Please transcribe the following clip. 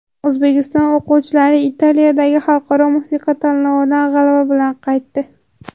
O‘zbekiston o‘quvchilari Italiyadagi xalqaro musiqa tanlovidan g‘alaba bilan qaytdi.